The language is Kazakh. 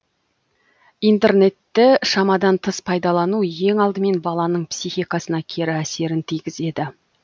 интернетті шамадан тыс пайдалану ең алдымен баланың психикасына кері әсерін тигізеді